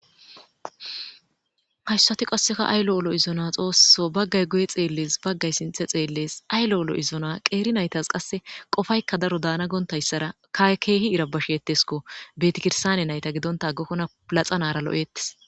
hashsati qasseka ay lo7olo izona xoosso baggay guye xeelles baggay sinthe xeellees aylo7olo izona qeeri naytas qasse qofaykka daro daana goontayssara kae keehi irabasheetesko betikirsane nayta gidonta aggakkona plaxanara lo7ettes